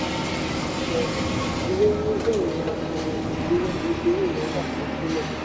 ó sọ: ilé níní jẹ́ ìnira fún ọmọ nàìjíríà nítorí ìnáwó asansílẹ̀.